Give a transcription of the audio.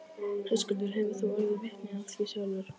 Höskuldur: Hefur þú orðið vitni af því sjálf?